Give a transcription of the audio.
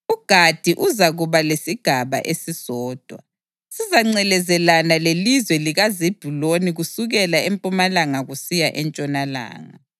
UGadi uzakuba lesigaba esisodwa; sizangcelezelana lelizwe likaZebhuluni kusukela empumalanga kusiya entshonalanga.